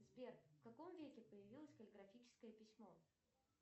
сбер в каком веке появилось каллиграфическое письмо